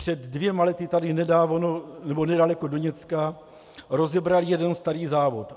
Před dvěma lety tady nedaleko Doněcka rozebrali jeden starý závod.